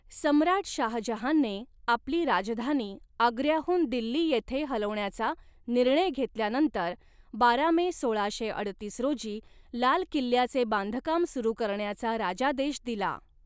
सम्राट शाहजहानने आपली राजधानी आग्र्याहून दिल्ली येथे हलवण्याचा निर्णय घेतल्यानंतर बारा मे सोळाशे अडतीस रोजी लाल किल्ल्याचे बांधकाम सुरू करण्याचा राजादेश दिला.